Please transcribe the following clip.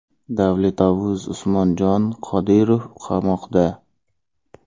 Davletovuz Usmonjon Qodirov qamoqda!